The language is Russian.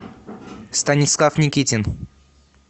станислав никитин